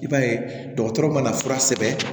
I b'a ye dɔgɔtɔrɔ mana fura sɛbɛn